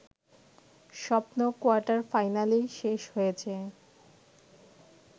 স্বপ্ন কোয়ার্টার-ফাইনালেই শেষ হয়েছে